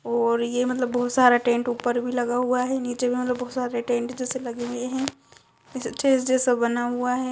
और ये मतलब बहोत सारा टेंट ऊपर भी लगा हुआ है। नीचे भी मतलब बहोत सारे टेंट जेसे लगे हुए हैं। स्टेज जैसा बना हुआ है।